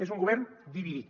és un govern dividit